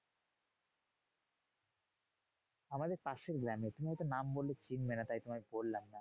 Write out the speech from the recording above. আমাদের পাশের গ্রামে। তুমি হয়তো নাম বললে চিনবে না তাই তোমায় বললাম না।